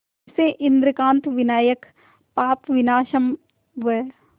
इसे इंद्रकांत विनायक पापविनाशम व